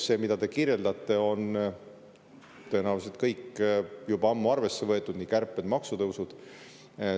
See, mida te kirjeldate, on tõenäoliselt kõik juba ammu arvesse võetud, nii kärped kui ka maksutõusud.